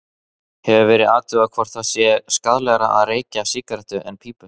Hefur verið athugað hvort það sé skaðlegra að reykja sígarettur en pípu?